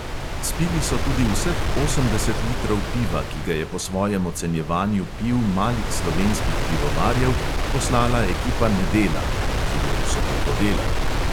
Spili so tudi vseh osemdeset litrov piva, ki ga je po svojem ocenjevanju piv malih slovenskih pivovarjev poslala ekipa nedela (ki je v soboto delala).